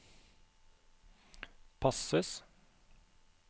passes